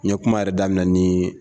Ɲe kuma yɛrɛ daminɛ ni